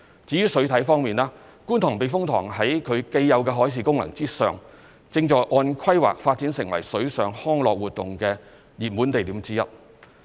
至於水體方面，觀塘避風塘在其既有的海事功能上，正按規劃發展成水上康樂活動的熱門地點之一。